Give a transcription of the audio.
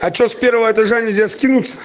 а что с первого этажа нельзя скинуться